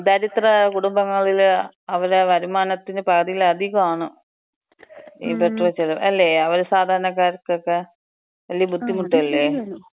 ദരിദ്രകുടുംബങ്ങളില അവര വരുമാനത്തിന് പകുതിയധികം ആണ് ഈ പെട്രോൾ ചെലവ്. അല്ലേ? അവര് സാധാരണക്കാർക്കക്ക വല്യ ബുദ്ധിമുട്ടല്ലേ?